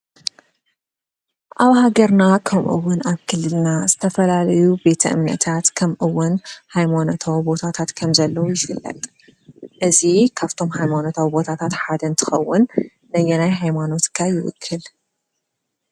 ኣብ ሃገርና ከምኡ እውን ክልልና ዝተፈላለዩ ቤተ እመነታት ከምኡ እውን ሃይማኖታዊ ቦታታት ከም ዘለዉ ይፍለጥ፡፡ እዚ ካብቶም ሃይማኖታዊ ቦታታት ሓደ እንትከውን ነየናይ ሃይማኖት ከ ይውክል?